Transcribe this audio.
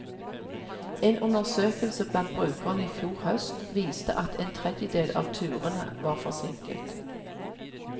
En undersøkelse blant brukerne i fjor høst viste at en tredjedel av turene var forsinket.